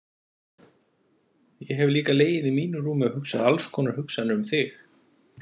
Ég hef líka legið í mínu rúmi og hugsað alls konar hugsanir um þig.